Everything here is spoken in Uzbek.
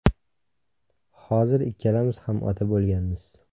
Hozir ikkalamiz ham ota bo‘lganmiz.